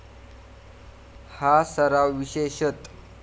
हा सराव विशेषतः.